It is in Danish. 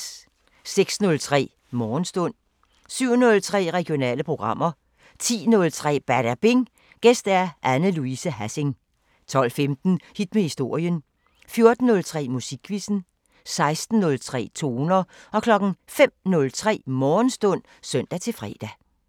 06:03: Morgenstund 07:03: Regionale programmer 10:03: Badabing: Gæst Anne Louise Hassing 12:15: Hit med historien 14:03: Musikquizzen 16:03: Toner 05:03: Morgenstund (søn-fre)